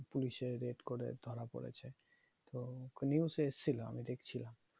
police এ raid করে ধরা পড়েছে তো police এসছিলো আমি দেখছিলাম